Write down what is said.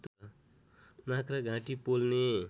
नाक र घाँटी पोल्ने